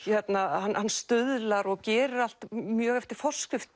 hann stuðlar og gerir allt mjög eftir forskrift